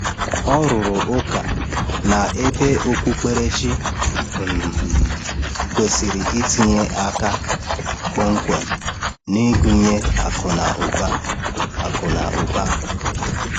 Ọ rụrụ ụka na ebe okpukperechi um kwesịrị itinye aka kpọmkwem n’ịgụnye akụ na ụba. akụ na ụba.